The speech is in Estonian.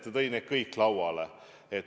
Ta tõi need kõik lauale.